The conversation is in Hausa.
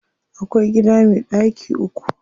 Akwai gida me ɗaki uku.